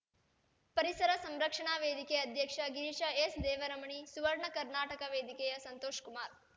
ಪರಿಸರ ಸಂರಕ್ಷಣಾ ವೇದಿಕೆ ಅಧ್ಯಕ್ಷ ಗಿರೀಶ ಎಸ್‌ದೇವರಮಣಿ ಸುವರ್ಣ ಕರ್ನಾಟಕ ವೇದಿಕೆಯ ಸಂತೋಷಕುಮಾರ